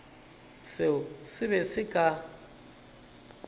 seo se be se ka